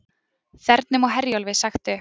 Þernum á Herjólfi sagt upp